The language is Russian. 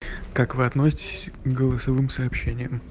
как вы относитесь к голосовым сообщением